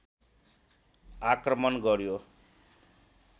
आक्रमण गर्‍यो